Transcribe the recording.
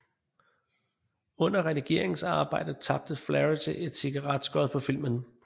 Under redigeringsarbejdet tabte Flaherty et cigaretskod på filmen